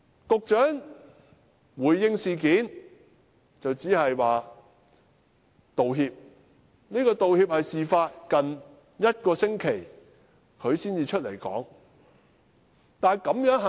局長在回應這事時只是道歉，而且也是在事發近一星期後才走出來道歉。